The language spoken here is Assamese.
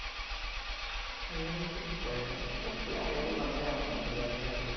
এহ foreigner এ কি আৰু সিহঁতেও মানুহে। অকমান ধুনীয়া ধুনীয়া খালি।